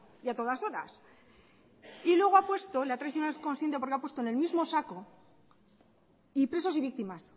y a todas horas y luego ha puesto le ha traicionado el subconsciente porque ha puesto en el mismo saco y presos y víctimas